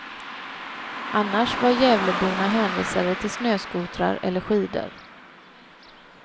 Annars var gävleborna hänvisade till snöskotrar eller skidor.